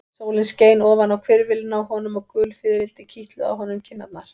Sólin skein ofan á hvirfilinn á honum og gul fiðrildi kitluðu á honum kinnarnar.